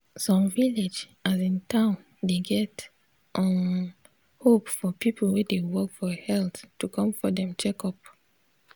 some village asin town dey get um hope for people wey dey work for health to come for dem checkup.